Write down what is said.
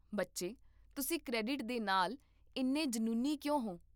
ਬੱਚੇ, ਤੁਸੀਂ ਕ੍ਰੈਡਿਟ ਦੇ ਨਾਲ ਇੰਨੇ ਜਨੂੰਨੀ ਕਿਉਂ ਹੋ?